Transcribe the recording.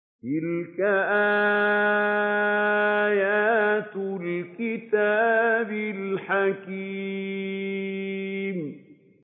تِلْكَ آيَاتُ الْكِتَابِ الْحَكِيمِ